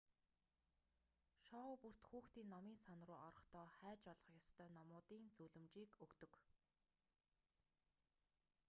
шоу бүрт хүүхдийн номын сан руу орохдоо хайж олох ёстой номуудын зөвлөмжийг өгдөг